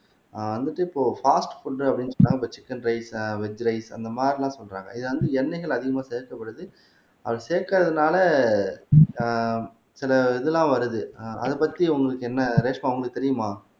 ஆஹ் வந்துட்டு இப்போ fast food அப்படின்னு சொன்னா இப்ப சிக்கன் ரைஸ் ஆஹ் வெஜ் ரைஸ் அந்த மாரிலாம் சொல்றாங்க இது வந்து எண்ணெய்கள் அதிகமா சேர்க்கப்படுது அது சேர்க்கிறதுனால ஆஹ் சில இதெல்லாம் வருது ஆஹ் அதைப் பத்தி உங்களுக்கு என்ன ரேஷ்மா உங்களுக்கு தெரியுமா